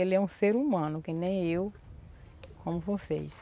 Ele é um ser humano que nem eu, como vocês.